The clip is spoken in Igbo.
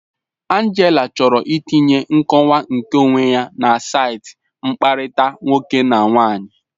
Angela chọrọ itinye nkọwa nkeonwe ya na saịtị mkpakọrịta nwoke na nwaanyị.